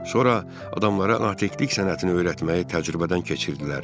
Sonra adamlara natiqlik sənətini öyrətməyi təcrübədən keçirdilər.